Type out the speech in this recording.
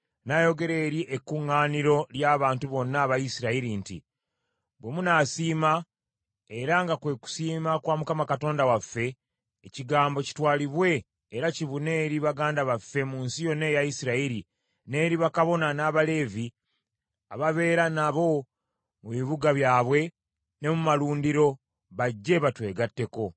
N’ayogera eri ekkuŋŋaaniro ly’abantu bonna aba Isirayiri nti, “Bwe munaasiima, era nga kwe kusiima kwa Mukama Katonda waffe, ekigambo kitwalibwe era kibune eri baganda baffe mu nsi yonna eya Isirayiri, n’eri bakabona, n’Abaleevi ababeera nabo mu bibuga byabwe ne mu malundiro, bajje batwegatteko.